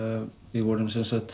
við vorum